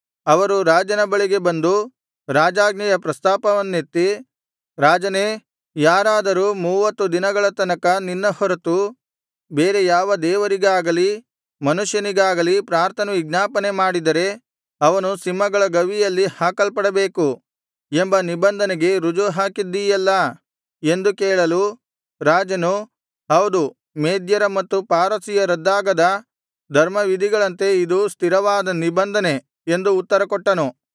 ಅವರು ರಾಜನ ಬಳಿಗೆ ಬಂದು ರಾಜಾಜ್ಞೆಯ ಪ್ರಸ್ತಾಪವನ್ನೆತ್ತಿ ರಾಜನೇ ಯಾರಾದರೂ ಮೂವತ್ತು ದಿನಗಳ ತನಕ ನಿನ್ನ ಹೊರತು ಬೇರೆ ಯಾವ ದೇವರಿಗಾಗಲಿ ಮನುಷ್ಯನಿಗಾಗಲಿ ಪ್ರಾರ್ಥನೆವಿಜ್ಞಾಪನೆ ಮಾಡಿದರೆ ಅವನು ಸಿಂಹಗಳ ಗವಿಯಲ್ಲಿ ಹಾಕಲ್ಪಡಬೇಕು ಎಂಬ ನಿಬಂಧನೆಗೆ ರುಜು ಹಾಕಿದ್ದೀಯಲ್ಲಾ ಎಂದು ಕೇಳಲು ರಾಜನು ಹೌದು ಮೇದ್ಯರ ಮತ್ತು ಪಾರಸಿಯರ ರದ್ದಾಗದ ಧರ್ಮವಿಧಿಗಳಂತೆ ಇದು ಸ್ಥಿರವಾದ ನಿಬಂಧನೆ ಎಂದು ಉತ್ತರಕೊಟ್ಟನು